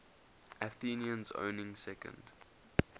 athenians owning second